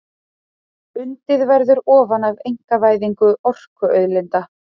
Undið verði ofan af einkavæðingu orkuauðlinda